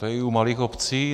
To je i u malých obcí.